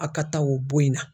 A ka ta o bon in na.